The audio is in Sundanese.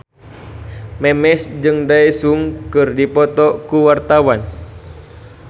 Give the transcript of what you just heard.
Memes jeung Daesung keur dipoto ku wartawan